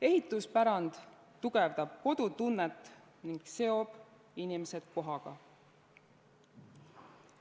Ehituspärand tugevdab kodutunnet ning seob inimesed kohaga.